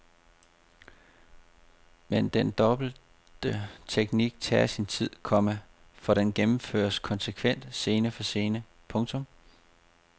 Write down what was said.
Men den dobbelte teknik tager sin tid, komma for den gennemføres konsekvent scene for scene. punktum